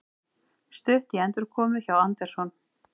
Stutt í endurkomu hjá Anderson